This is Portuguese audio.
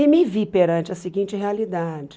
E me vi perante a seguinte realidade.